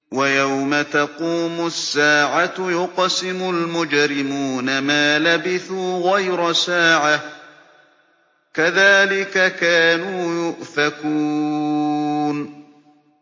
وَيَوْمَ تَقُومُ السَّاعَةُ يُقْسِمُ الْمُجْرِمُونَ مَا لَبِثُوا غَيْرَ سَاعَةٍ ۚ كَذَٰلِكَ كَانُوا يُؤْفَكُونَ